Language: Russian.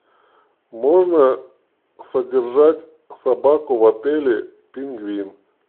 можно содержать собаку в отеле пингвин